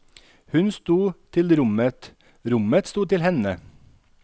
Hun sto til rommet, rommet sto til henne.